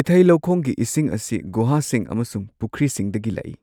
ꯏꯊꯩ ꯂꯧꯈꯣꯡꯒꯤ ꯏꯁꯤꯡ ꯑꯁꯤ ꯒꯨꯍꯥꯁꯤꯡ ꯑꯃꯁꯨꯡ ꯄꯨꯈ꯭ꯔꯤꯁꯤꯡꯗꯒꯤ ꯂꯥꯛꯏ꯫